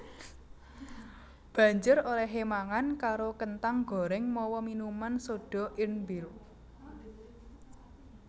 Banjur olèhé mangan karo kenthang gorèng mawa minuman soda Irn Bru